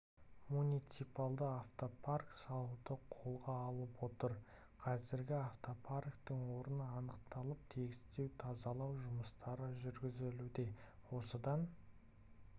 муниципальды автопарк салуды қолға алып отыр қазір автопарктің орны анықталып тегістеу тазалау жұмыстары жүргізілуде осыдан